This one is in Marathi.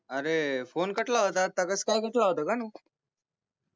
अरे फोने कटला होता आत्ता कसकाय कटला होता कानू